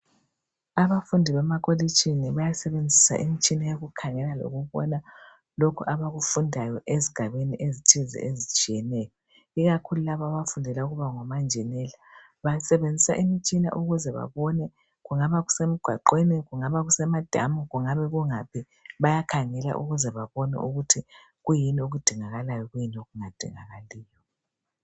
Abafundi bemakolitshini bayasebenzisa imitshina yokukhangela leyokubona lokhu abakufundayo ezigabeni ezithize ezitshiyeneyo ikakhulu laba abafundela ukuba ngomanjinela bayasebenzisa imitshina ukuze babone kungaba kusemgwaqweni kungabe kusemadamu kungabe kungaphi bayakhangela ukuze babone ukuthi kuyini okudingakalayo kuyini okungadingakaliyo.